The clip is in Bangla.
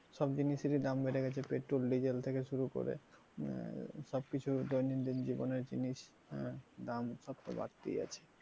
সব জিনিসেরই দাম বেড়ে গেছে petrol diesel থেকে শুরু করে সবকিছু দৈনন্দিন জীবনের জিনিস আহ দাম সব তো বাড়তেই আছে।